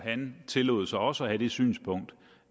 han tillod sig også at have det synspunkt